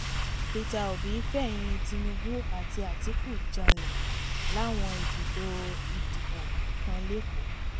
peter obi fẹ̀yìn-ín tinubu àti àtikukù janlẹ̀ láwọn ibùdó ìdìbò kan lẹ́kọ̀ọ́